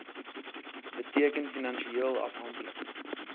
beteken finansieel afhanklik